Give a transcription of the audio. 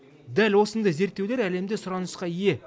дәл осындай зерттеулер әлемде сұранысқа ие